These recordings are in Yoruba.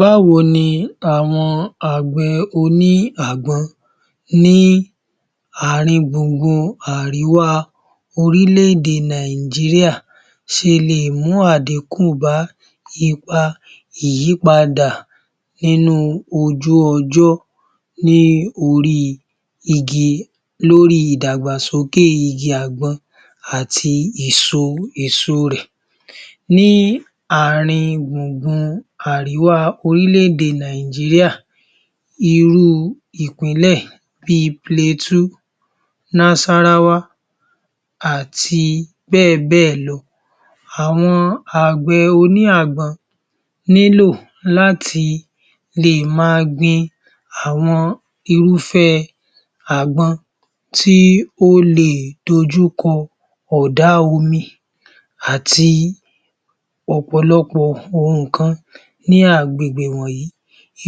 Báwo ni àwọn àgbẹ̀ oní àgbọn ní àrin gbùngbùn àríwá orílẹ̀-èdè Nàìjíríà ṣe le è mú àdíkù bá ipa ìyípadà nínú ojú-ọjọ́ lóri ìdàgbàsókè igi àgbọn àti èso rẹ̀. Ní àrin gbùngbùn àríwá orílẹ̀-èdè Nàìjíríà irú ìpínlẹ̀ bíi Plateau, Nasarawa àti bẹ́ẹ̀ bẹ́ẹ̀ lọ. Àwọn àgbẹ̀ oní àgbọn nílò láti le è ma gbin àwọn irúfẹ́ àgbọn tí ó le è dojúkọ ọ̀dá omi àti ọ̀pọ̀lọpọ̀ nǹkan ní agbègbè wọ̀nyí.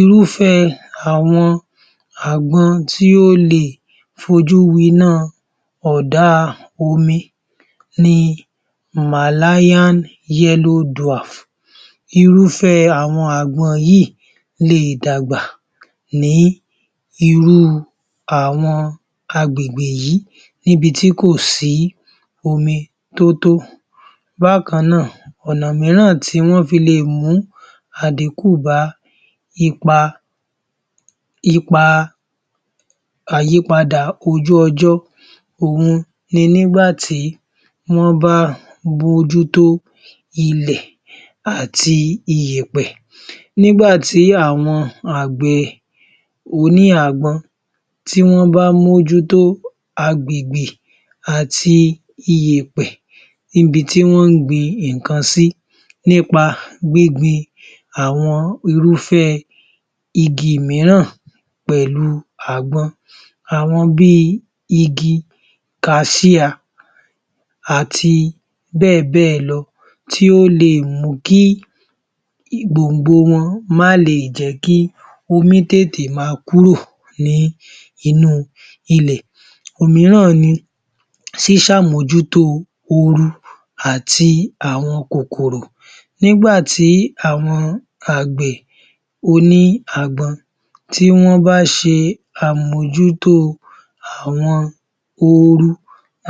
Irúfẹ́ àwọn àgbọn tí ó le è fojú winá ọ̀dá omi ní [Malayan yellow dwarf], irúfẹ́ àwọn àgbọn yìí le è dàgbà ní irú àwọn agbègbè yí níbi tí kò sí omi tótó. Bákan náà, ọ̀nà míràn tí wọ́n fí le è mú àdíkù bá ipa àyípadà ojú-ọjọ́ òhun ni nígbà tí wọ́n bá bójútó ilẹ̀ àti iyẹ̀pẹ̀. Nígbà tí àwọn àgbẹ̀ oní àgbọn tí wọ́n bá mójútó agbègbè àti iyẹ̀pẹ̀ ibi tí wọ́n ń gbin nǹkan sí nípa gbíngbin àwọn irúfẹ́ igi míràn pẹ̀lú àgbọn. Àwọn bíi igi kasíà àti bẹ́ẹ̀ bẹ́ẹ̀ lọ tí ó le è mú kí gbòngbò wọn má le è jẹ kí omi tètè máa kúrò ní inú ilẹ̀. Òmíràn ni ṣíṣe àmójútó oru àti àwọn kòkòro. Nígbà tí àwọn àgbẹ̀ oní àgbọn tí wọ́n bá ṣe àmójútó àwọn oru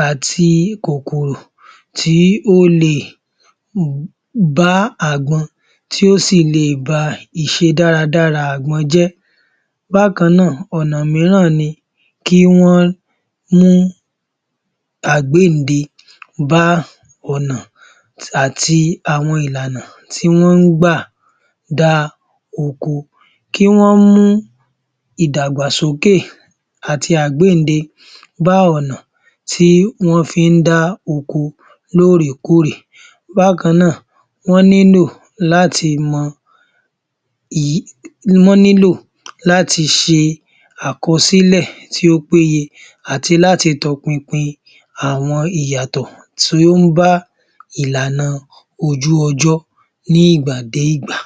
ati kòkòro tí ó le è bá àgbọn tí ó sì le è ba ìṣedáradára àgbọn jẹ́. Bákan náà, ọ̀nà míràn ni kí wọ́n mú àgbéyìnde bá ọ̀nà àti àwọn ìlànà tí wọ́n ń gbà dá oko, kí wọ́n mú ìdàgbàsókè àti àgbéyìnde bá ọ̀nà tí wọ́n fi ń dá oko lóòrèkóòrè. Bákan náà, wọ́n nílò láti ṣe àkọsílẹ̀ tí ó péye àti láti tọpinpin àwọn ìyàtọ̀ tí ó ń bá ìlànà ojú-ọjọ́ ní ìgbà dé ìgbà.